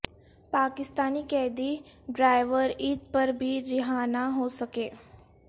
پاکستانی قیدی ڈرائیور عید پر بھی رہا نہ ہو سکا